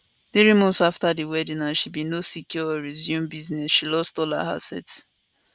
three months afta di wedding as she bin no secure or resume business she lost all her assets